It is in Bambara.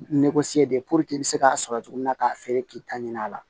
de puruke i be se k'a sɔrɔ cogo min na k'a feere k'i ta ɲini a la